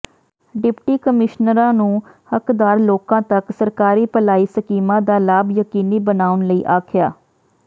deputy ਕਮਿਸ਼ਨਰਾਂ ਨੂੰ ਹੱਕਦਾਰ ਲੋਕਾਂ ਤੱਕ ਸਰਕਾਰੀ ਭਲਾਈ ਸਕੀਮਾਂ ਦਾ ਲਾਭ ਯਕੀਨੀ ਬਣਾਉਣ ਲਈ ਆਖਿਆ